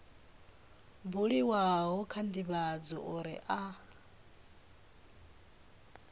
buliwaho kha ndivhadzo uri a